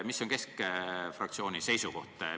Mis on keskfraktsiooni seisukoht?